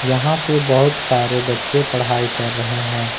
यहां पे बहुत सारे बच्चे पढ़ाई कर रहे हैं।